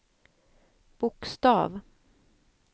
bokstav